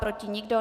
Proti nikdo.